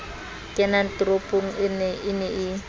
kenang toropong e ne e